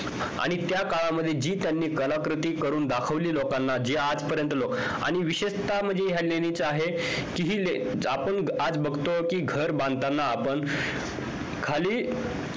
आणि त्या काळामध्ये जी त्यांनी कलाकृती करून दाखिवली लोकांना जे आज पर्यंत लोकांना आणि विशेषतः म्हणजे ह्या लेणीच आहे कि हि आपण आज बघतो घर बांधताना आपण खाली